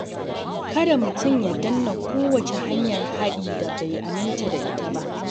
Kada mutum ya danna kowace hanyar haɗi da bai aminta da ita ba.